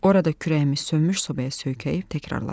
Orada kürəyimi sönmüş sobaya söykəyib təkrarladı.